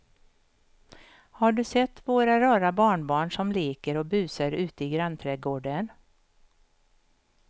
Har du sett våra rara barnbarn som leker och busar ute i grannträdgården!